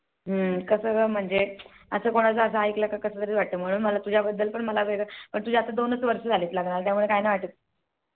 कस म्हणजे असं कोणाचं काही ऐकलं कि कस तरी वाटत मला तुझ्या बद्दल पण वेगळं पण तुझ्या दोनच वर्ष झाले लग्नाला त्यामुळे काही नाही वाटत.